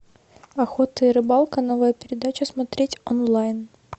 охота и рыбалка новая передача смотреть онлайн